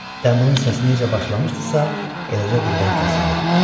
Dəmirin səsi necə başlamışdısa, eləcə birdən kəsildi.